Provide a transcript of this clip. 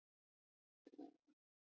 Hann þarf ekkert að sanna